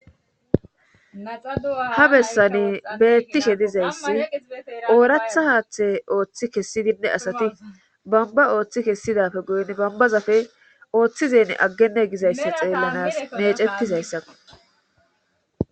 ha bessani beettishe dizayssi ooratha haaththe ooththi kessidinne asati bamba ooththi kessidafe guyin bambazafe ooththizen aggenne gizayssa xeellanas meecettizayssa